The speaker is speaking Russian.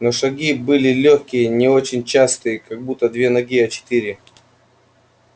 но шаги были лёгкие не очень частые как будто две ноги а четыре